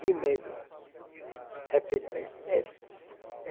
De medo. É